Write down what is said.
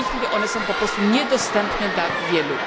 W tej chwili one są po prostu niedostępne dla wielu.